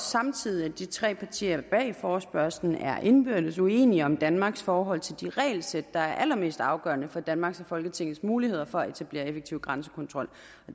samtidig at de tre partier bag forespørgslen er indbyrdes uenige om danmarks forhold til de regelsæt der er allermest afgørende for danmarks og folketingets muligheder for at etablere effektiv grænsekontrol